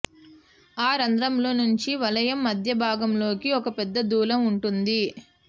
ఆ రంధ్రంలో నుంచి వలయం మధ్యభాగంలోకి ఒక పెద్ద దూలం ఉంటుంది